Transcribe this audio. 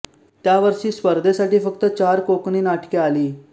त्या वर्षी स्पर्धेसाठी फक्त चार कोकणी नाटके आली